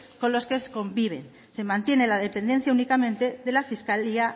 con los que convive se mantiene la dependencia únicamente de la fiscalía